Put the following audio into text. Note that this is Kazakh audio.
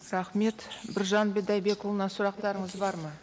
рахмет біржан бидайбекұлына сұрақтарыңыз бар ма